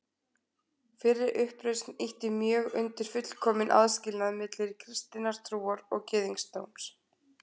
Fyrri uppreisnin ýtti mjög undir fullkominn aðskilnað milli kristinnar trúar og gyðingdóms.